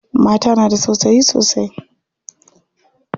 Mata na da tausayi sosai.